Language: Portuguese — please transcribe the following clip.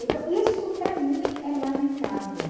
Então, isso para mim é lamentável.